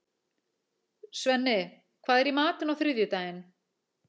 Svenni, hvað er í matinn á þriðjudaginn?